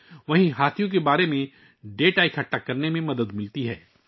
دوسری طرف، یہ ہاتھیوں کے بارے میں اعداد و شمار جمع کرنے میں مدد کرتا ہے